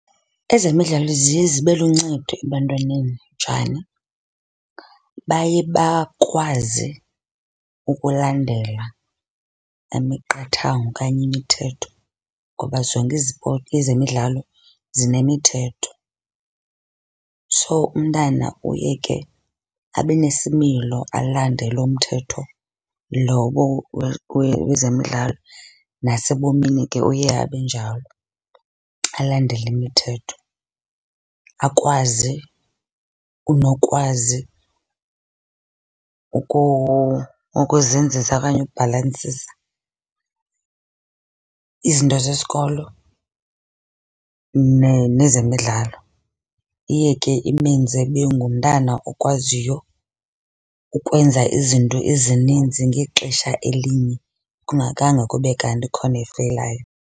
Ezemidlalo ziye zibe luncedo ebantwaneni, njani? Baye bakwazi ukulandela imiqathango okanye imithetho ngoba zonke izipoti, ezemidlalo zinemithetho. So, umntana uye ke abe nesimilo, alandele umthetho lowo wezemidlalo. Nasebomini ke uye abe njalo, alandele imithetho akwazi unokwazi ukuzinzisa okanye ukubhalansisa izinto zesikolo nezemidlalo. Iye ke imenze abe ngumntana okwaziyo ukwenza izinto ezininzi ngexesha elinye kungakhange kube kanti ikhona efeyilayo.